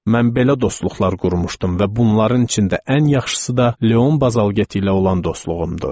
Mən belə dostluqlar qurmuşdum və bunların içində ən yaxşısı da Leon Bazalgeti ilə olan dostluğumdur.